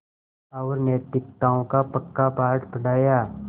और नैतिकताओं का पक्का पाठ पढ़ाया